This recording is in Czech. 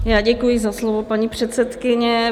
Já děkuji za slovo, paní předsedkyně.